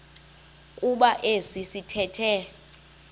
kuba esi sithethe